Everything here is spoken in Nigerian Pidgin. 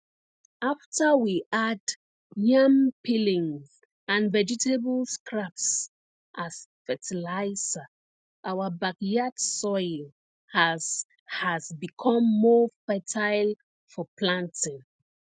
after we add yam peelings and vegetable scraps as fertilizer our backyard soil has has become more fertile for planting